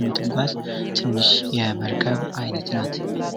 የምትጓዝ ትንሽ የመርከብ አይነት ናት።